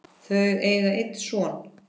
Þau eiga einn son.